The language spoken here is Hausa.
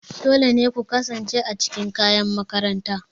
Dole ne ku kasance a cikin kayan makaranta.